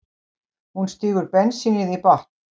Hún stígur bensínið í botn.